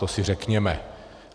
To si řekněme.